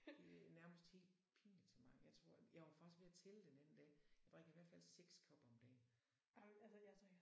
Det nærmest helt pinligt så meget. Jeg tror jeg var faktisk ved at tælle den anden dag jeg drikker i hvert fald 6 kopper om dagen